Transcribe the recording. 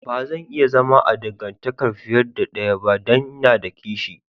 Ba zan iya zama a dangantakan fiyar da daya ba dan n'na da kishi.